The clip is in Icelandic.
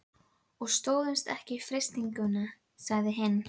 Hann var yngri en hann hafði gert sér í hugarlund.